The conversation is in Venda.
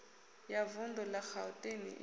ya vundu la gauteng i